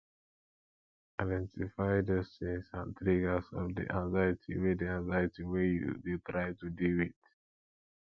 identify those things and triggers of di anxiety wey di anxiety wey you dey try to deal with